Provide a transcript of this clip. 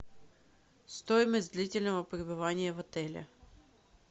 стоимость длительного пребывания в отеле